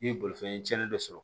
N ye bolifɛn cɛnni dɔ sɔrɔ